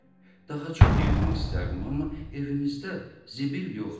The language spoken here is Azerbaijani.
Daha çox yığmaq istərdim, amma evimizdə zibil yoxdur.